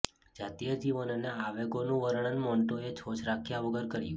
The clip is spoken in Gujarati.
જાતીય જીવન અને આવેગોનું વર્ણન મન્ટોએ છોછ રાખ્યા વગર કર્યું